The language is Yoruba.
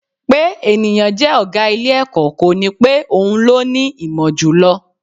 Pé ènìyàn jẹ́ ọ̀gá ilé-ẹ̀kọ́, kò ní pé òun ló ní ìmọ̀ jù lọ